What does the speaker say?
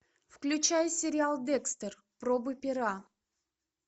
включай сериал декстер пробы пера